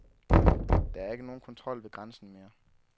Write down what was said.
Der er ikke nogen kontrol ved grænsen mere.